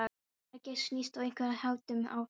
Allt sem er gert snýst á einhvern hátt um áfengi.